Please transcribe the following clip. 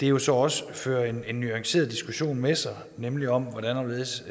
jo så også fører en en nuanceret diskussion med sig nemlig om hvordan og hvorledes